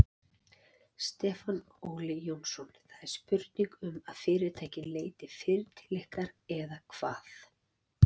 Stefán Óli Jónsson: Það er spurning um að fyrirtækin leiti fyrr til ykkar eða hvað?